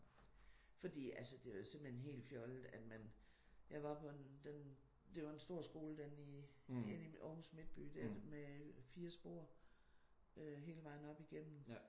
Fordi altså det er jo simpelthen helt fjollet at man jeg var på en den det var en stor skole den i Aarhus midtby der med 4 spor hele vejen op igennem